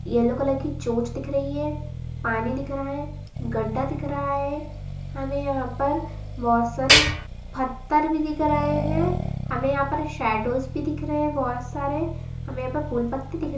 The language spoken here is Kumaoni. येल्लो कलर की चोंच दिख रही है पानी दिख रहा है गड्डा दिख रहा है हमें यहाँ पर बहोत सारे पत्थर भी दिख रहे हैं हमें यहाँ पर शैडोज़ भी दिख रहे हैं बहोत सारे हमें यहाँ पर फूल पत्ती दिख --